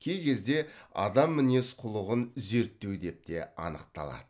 кей кезде адам мінез құлығын зерттеу деп те анықталады